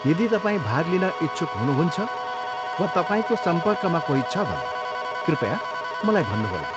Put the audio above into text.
यदि तपाईँ भाग लिन इच्छुक हुनुहुन्छ वा तपाईँको सम्पर्कमा कोही छ भने, कृपया मलाई भन्नु होला।